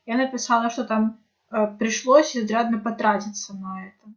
я написала что там пришлось изрядно потратиться мной